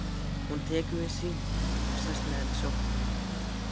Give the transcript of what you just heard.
Hún tekur við syninum og sest með hann í sófann.